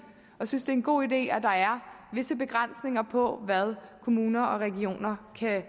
og synes det er en god idé at der er visse begrænsninger på hvad kommuner og regioner kan